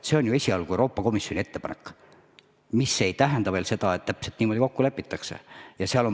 See on esialgu Euroopa Komisjoni ettepanek, mis ei tähenda veel seda, et täpselt niimoodi kokku lepitakse.